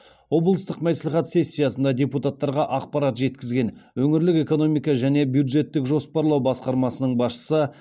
облыстық мәслихат сессиясына депутаттарға ақпарат жеткізген өңірлік экономика және бюджеттік жоспарлау басқармасының басшысы